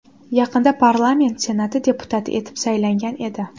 Yaqinda parlament Senati deputati etib saylangan edi.